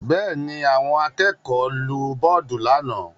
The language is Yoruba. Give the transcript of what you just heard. Bẹ́ẹ̀ ni, àwọn akẹ́kọ̀ọ́ nu bọ́ọ́dù lánàá.